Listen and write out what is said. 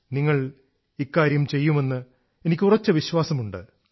നിങ്ങൾ ഇക്കാര്യം ചെയ്യുമെന്ന് എനിക്ക് ഉറച്ച വിശ്വാസമുണ്ട്